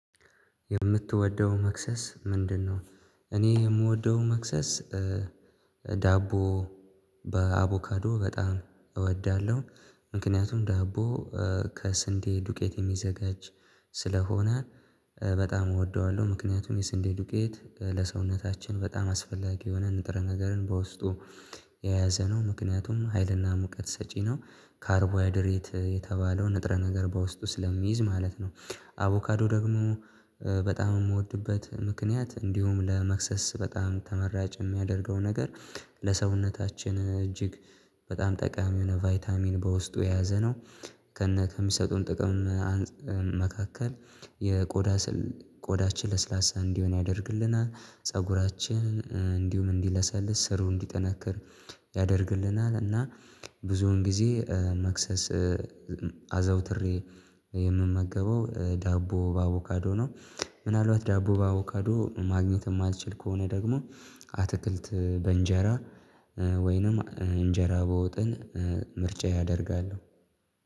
የምትወደው መክሰስ ምንድነው? እኔ የምወደው መክሰስ ዳቦ በአቮካዶ በጣም እወዳለሁ። ምክንያቱም ዳቦ ከስንዴ ዱቄት የሚዘጋጅ ስለሆነ በጣም እወደዋለሁ። ምክንያቱም የስንዴ ዱቄት ለሰውነታችን በጣም አስፈላጊ የሆነ ንጥረ ነገርን በውስጡ የያዘ ነው። ምክንያቱም ሀይልና ሙቀት ሰጪ ነው ካርቦ ሃይድሬት የተባለው ንጥረ ነገር በውስጡ ስለሚይዝ ማለት ነው። አቮካዶ ደግሞ በጣም የምወድበት ምክንያት እንዲሁም ለመክሰስ በጣም ተመራጭ የሚያደርገው ነገር ለሰውነታችን እጅግ በጣም ጠቃሚ የሆነ ቫይታሚን በውስጡ የያዘ ነው። ከነ ከሚሰጡን ጥቅም አንፃመካከል የቆዳ ስል ቆዳችን ለስላሳ እንዲሆን ያደርግልናል ፀጉራችን እንዲሁም እንዲለሰልስ ስሩ እንዲጠነክር ያደርግልናል። እና ብዙውን ጊዜ መክሰስ አዘውትሬ የምመገበው ዳቦ በአቮካዶ ነው። ምናልባት ዳቦ በአቮካዶ ማግኘት የማልችል ከሆነ ደግሞ አትክልት በእንጀራ ወይንም እንጀራ በወጥን ምርጫየ አደርጋለሁ